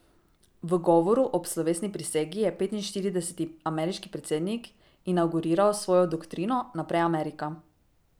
V govoru ob slovesni prisegi je petinštirideseti ameriški predsednik inavguriral svojo doktrino Najprej Amerika.